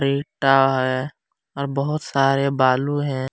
ईटा है और बहुत सारे बालू है।